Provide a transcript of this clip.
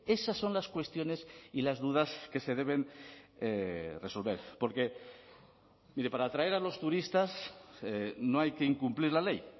esas son las cuestiones y las dudas que se deben resolver porque mire para atraer a los turistas no hay que incumplir la ley